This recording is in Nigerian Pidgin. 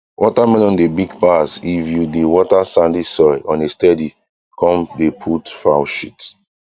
watermelon dey big pass if you dey water sandy soil on a steady come dey put fowl shit